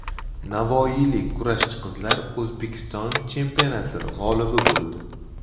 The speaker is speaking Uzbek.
Navoiylik kurashchi qizlar O‘zbekiston chempionati g‘olibi bo‘ldi.